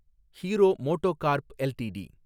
hero MotoCorp LTD